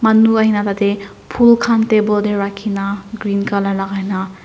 manu ahe na thaka te phool khan table te rakhi na green colour lagai na.